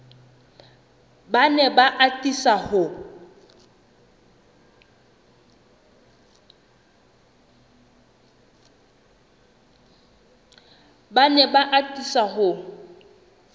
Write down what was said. ba ne ba atisa ho